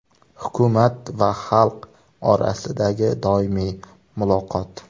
Hukumat va xalq orasidagi doimiy muloqot.